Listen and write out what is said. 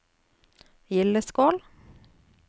Gildeskål